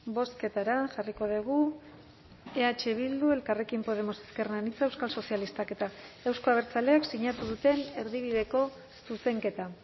bozketara jarriko dugu eh bildu elkarrekin podemos ezker anitza euskal sozialistak eta euzko abertzaleek sinatu duten erdibideko zuzenketa